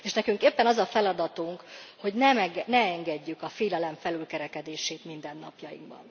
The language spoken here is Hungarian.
És nekünk éppen az a feladatunk, hogy ne engedjük a félelem felülkerekedését mindennapjainkban.